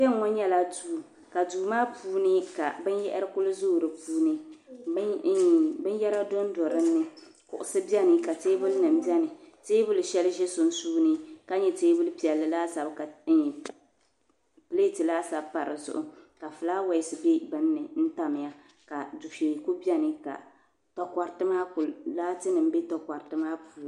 kpe ŋ-ŋɔ nyɛla duu ka duu maa puuni ka binyahiri kuli zooi di puuni iin binyɛra dɔnda di ni kuɣisi beni ka teebulinima beni teebuli shɛli za sunsuuni ka nyɛ teebuli piɛlli laasabu ka iin pileeti laasabu pa di zuɣu ka fulaawaasi be bini ni n-tamya ka dufɛya kuli beni ka laatinima be takɔriti maa puuni